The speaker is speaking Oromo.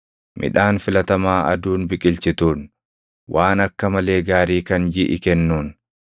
midhaan filatamaa aduun biqilchituun, waan akka malee gaarii kan jiʼi kennuun,